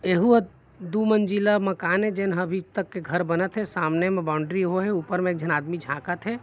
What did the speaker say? ऐहु हा दू मंज़िला मकान ए जेन अभी तक घर बनत हे सामने म बाउंड्री होए हे ऊपर म एक झन आदमी झाकत हे।